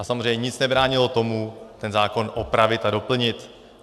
A samozřejmě nic nebránilo tomu ten zákon opravit a doplnit.